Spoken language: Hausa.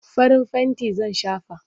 Farin fenti zan shafa.